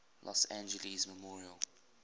los angeles memorial